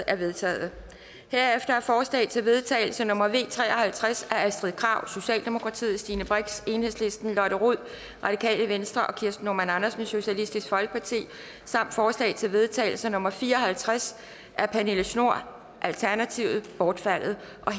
er vedtaget herefter er forslag til vedtagelse nummer v tre og halvtreds af astrid krag stine brix lotte rod og kirsten normann andersen samt forslag til vedtagelse nummer v fire og halvtreds af pernille schnoor bortfaldet